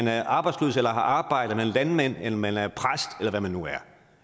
er arbejdsløs eller har arbejde eller er landmand eller man er præst eller hvad man nu er